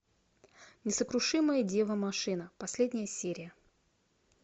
несокрушимая дева машина последняя серия